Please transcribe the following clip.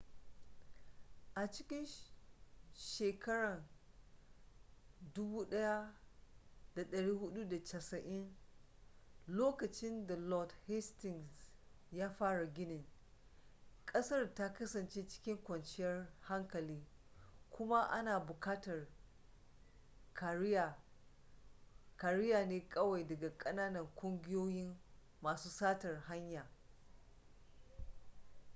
a cikin 1480s lokacin da lord hastings ya fara ginin ƙasar ta kasance cikin kwanciyar hankali kuma ana buƙatar kariya ne kawai daga ƙananan ƙungiyoyin masu satar hanya